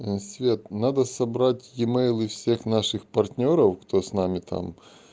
свет надо собрать имейлы всех наших партнёров кто с нами там